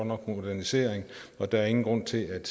nok modernisering og der er ingen grund til at